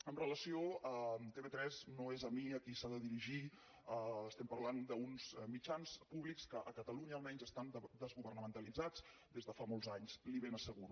amb relació a tv3 no és a mi a qui s’ha de dirigir estem parlant d’uns mitjans públics que a catalunya almenys estan desgovernamentalitzats des de fa molts anys li ho ben asseguro